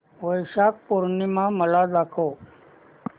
वैशाख पूर्णिमा मला दाखव